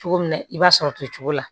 Cogo min na i b'a sɔrɔ to cogo la